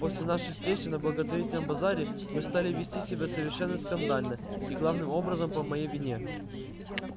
после нашей встречи на благотворительном базаре вы стали вести себя совершенно скандально и главным образом по моей вине